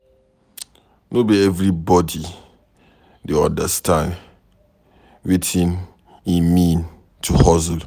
No be everybodi dey understand wetin e mean to hustle.